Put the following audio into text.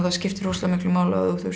skiptir rosalega miklu máli